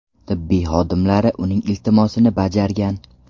Tibbiyot xodimlari uning iltimosini bajargan.